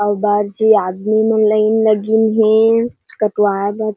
अऊ बड़ झन आदमी मन लाइन लगिन हे।